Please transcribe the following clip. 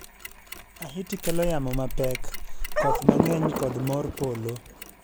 Ahiti kelo yamo mapek, koth mang'eny kod mor polo.